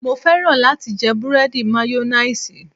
Mo fẹ́ràn láti jẹ búrẹ́dì mayonnaise